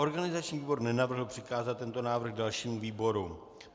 Organizační výbor nenavrhl přikázat tento návrh dalšímu výboru.